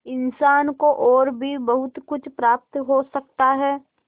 इंसान को और भी बहुत कुछ प्राप्त हो सकता है